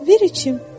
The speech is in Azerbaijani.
Ver içim.